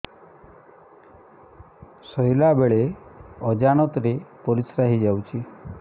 ଶୋଇଲା ବେଳେ ଅଜାଣତ ରେ ପରିସ୍ରା ହେଇଯାଉଛି